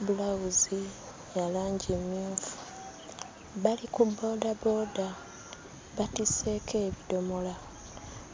bbulawuzi ya langi mmyufu. Bali ku boodabooda, batisseeko ebidomola.